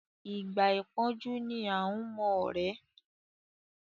Ìgbà ìpọ́njú ni à ń mọ ọ̀rẹ́.